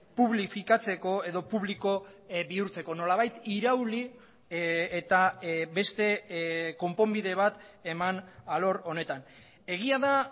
publifikatzeko edo publiko bihurtzeko nolabait irauli eta beste konponbide bat eman alor honetan egia da